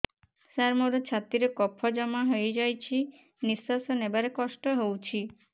ସାର ମୋର ଛାତି ରେ କଫ ଜମା ହେଇଯାଇଛି ନିଶ୍ୱାସ ନେବାରେ କଷ୍ଟ ହଉଛି